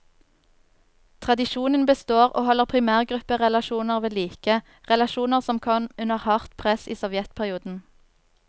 Tradisjonen består, og holder primærgrupperelasjoner ved like, relasjoner som kom under hardt press i sovjetperioden.